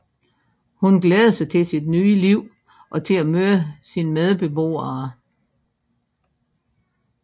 Hun glæder sig til sit nye liv og til at møde sine medbeboere